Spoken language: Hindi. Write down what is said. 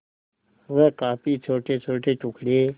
वह काफी छोटेछोटे टुकड़े